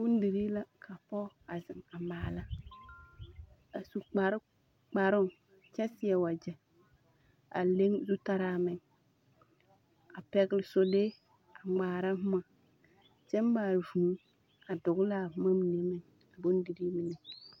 Bodirii la ka pɔge a zeŋ a maala a su kpare… kparoŋ kyɛ seɛ wagyɛ a leŋ zutaraa meŋ. A pɛgele solee a ŋmaara boma kyɛ maa vũũ a dogele a boma mine meŋ a bondirii mine.